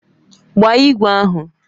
Gbaa igwe ahụ!